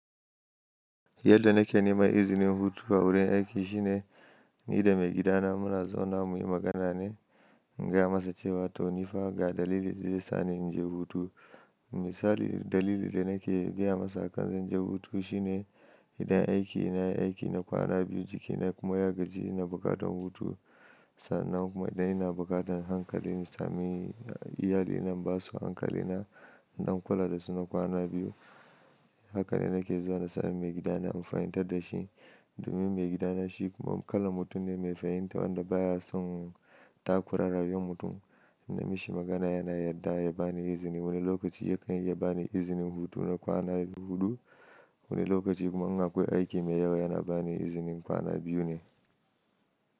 Yadda na ke neman izinin hutu a wurin aiki shine, ni da maigidana muna zaunawa muyi magana ne, in gaya masa cewa to nifa ga dalilin da zai sani in je hutu. Misali dalili da nake gaya masa kan zan je hutu shine idan aiki ya yi aiki na kwana biyu jikina kuma ya gaji ina buƙatan hutu. Sannan kuma idan ina buƙatan hankalin in sami iyalina ina basu hankalina, in ɗan kula dasu na kwana biyu. Haka ne nake zuwa na sani maigidana in fahimtar dashi, domin maigidana shi kuma kalan mutum ne mai fahimta wanda baya son takura rayuwar mutum. Idan na mishi magana yana yarda ya bani izini. Wani lokaci ya kan iya bani izinin hutuwa na kwana huɗu, wani lokaci kuma in akwai aiki mai yawa yana bani izinin kwana biyu ne.